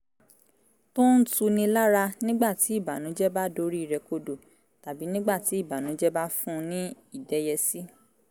tó ń tuni lára nígbà tí ìbànújẹ́ bá dorí rẹ̀ kodò tàbí nígbà tí ìbànújẹ́ bá fun ní ìdẹ́yẹsí